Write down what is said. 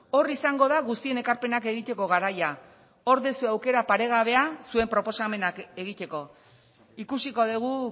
hor izango da guztien ekarpenak egiteko garaia hor dezu aukera paregabea zuen proposamenak egiteko ikusiko dugu